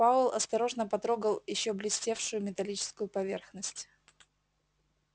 пауэлл осторожно потрогал ещё блестевшую металлическую поверхность